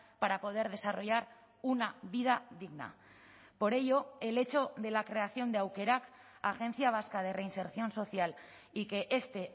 para poder desarrollar una vida digna por ello el hecho de la creación de aukerak agencia vasca de reinserción social y que este